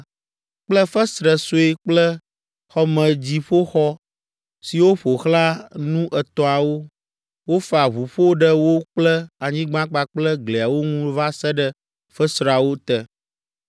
kple fesre sue kple xɔmedziƒoxɔ siwo ƒo xlã nu etɔ̃awo; wofa ʋuƒo ɖe wo kple anyigba kpakple gliawo ŋu va se ɖe fesreawo te.